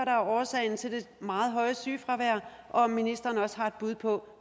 er årsagen til det meget høje sygefravær og om ministeren også har et bud på